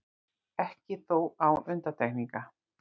Ekki þó án undantekninga.